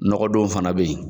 Nɔgɔ don fana bɛ yen.